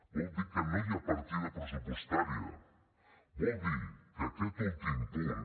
vol dir que no hi ha partida pressupostària vol dir que aquest últim punt